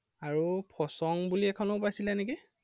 আৰু ফসং বুলি এখনেও পাইছেলে নেকি?